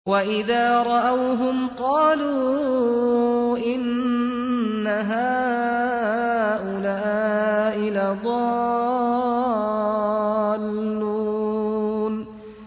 وَإِذَا رَأَوْهُمْ قَالُوا إِنَّ هَٰؤُلَاءِ لَضَالُّونَ